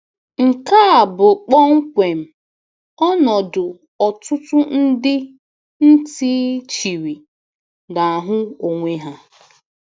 Nke a bụ kpọmkwem ọnọdụ ọtụtụ ndị ntị chiri na-ahụ onwe ha.